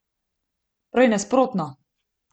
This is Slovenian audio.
Prej nasprotno.